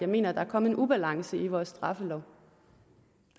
mener at der er kommet en ubalance i vores straffelov